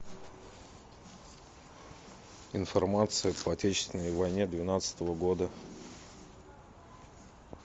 информация по отечественной войне двенадцатого года